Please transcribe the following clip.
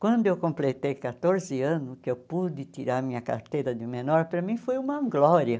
Quando eu completei quatorze anos, que eu pude tirar minha carteira de menor, para mim foi uma glória.